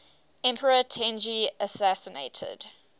emperor tenji assassinated